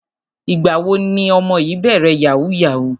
Ìgbà wo ni ọmọ yìí bẹ̀rẹ̀ yahoo yahoo?